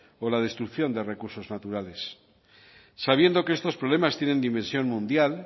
o la destrucción de recursos naturales sabiendo que estos problemas tiene dimensión mundial